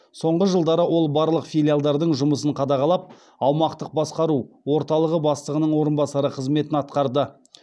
соңғы жылдары ол барлық филиалдардың жұмысын қадағалап аумақтық басқару орталығы бастығының орынбасары қызметін атқарды